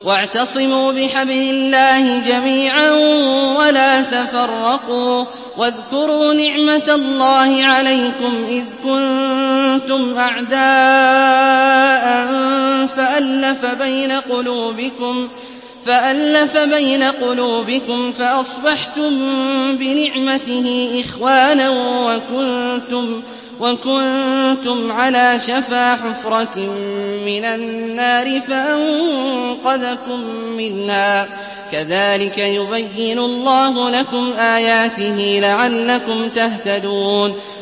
وَاعْتَصِمُوا بِحَبْلِ اللَّهِ جَمِيعًا وَلَا تَفَرَّقُوا ۚ وَاذْكُرُوا نِعْمَتَ اللَّهِ عَلَيْكُمْ إِذْ كُنتُمْ أَعْدَاءً فَأَلَّفَ بَيْنَ قُلُوبِكُمْ فَأَصْبَحْتُم بِنِعْمَتِهِ إِخْوَانًا وَكُنتُمْ عَلَىٰ شَفَا حُفْرَةٍ مِّنَ النَّارِ فَأَنقَذَكُم مِّنْهَا ۗ كَذَٰلِكَ يُبَيِّنُ اللَّهُ لَكُمْ آيَاتِهِ لَعَلَّكُمْ تَهْتَدُونَ